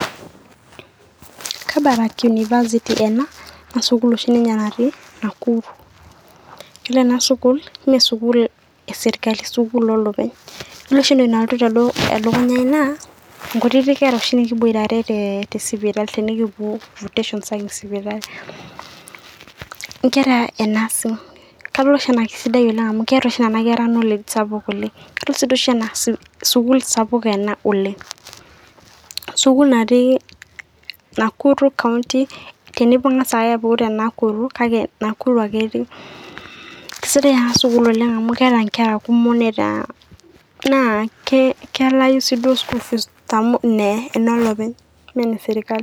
Kabarak University ena naa sukuul oshi ninye natii Nakuru. Yiolo ena sukuul meesukuul eserkali sukuul olopeny. Yiolo oshi entoki nalotu elukunya ai naa nkutiti kera oshi nikiboitare te sipitali tenikipuo nkera e Nursing. Kadol oshi anaa keisidai amu keeta oishi nena kera knowledge sapuk oleng', kadol sii doi oshi naa sukuul sapuk ena oleng', sukuul natii Nakuru kaunti tenibung'a sai apuku te Nakuru kake Nakuru ake etii. Kisidai ena sukuul oleng' amu keeta nkera kumok neeta naa kelaayu sii duo school fees amu enolopeny mee eneserkali.